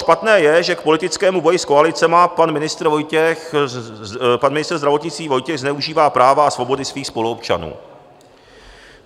Špatné je, že k politickému boji s koalicemi pan ministr zdravotnictví Vojtěch zneužívá práva a svobody svých spoluobčanů.